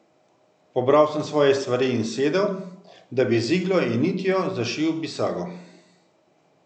Pobral sem svoje stvari in sedel, da bi z iglo in nitjo zašil bisago.